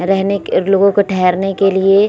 रहने के लोगो को ठहरने के लिए --